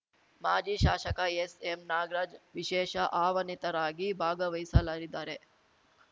ಮಾಜಿ ಶಾಸಕ ಎಸ್‌ಎಂ ನಾಗರಾಜ್‌ ವಿಶೇಷ ಆಹ್ವಾನಿತರಾಗಿ ಭಾಗವಹಿಸಲರಿದ್ದಾರೆ